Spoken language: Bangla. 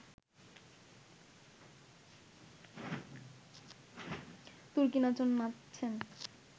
তুর্কি-নাচন নাচছেন